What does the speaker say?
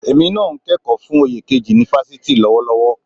Èmi náà ń kẹ́kọ̀ọ́ fún oyè kejì ni fásitì lọ́wọ́lọ́wọ́